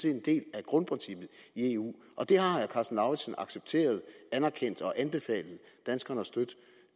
en del af grundprincippet i eu og det har herre karsten lauritzen accepteret anerkendt og anbefalet danskerne at støtte